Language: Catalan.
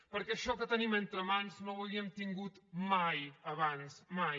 perquè això que tenim entre mans no ho havíem tingut mai abans mai